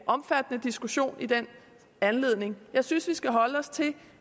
omfattende diskussion i den anledning jeg synes vi skal holde os til